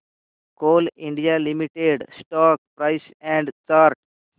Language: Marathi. Coal India Limited stock price and chart